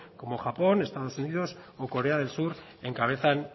como japón estados unidos o corea del sur encabezan